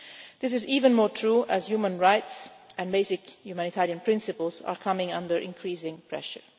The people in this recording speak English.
This is even more true as human rights and basic humanitarian principles are coming under increasing pressure.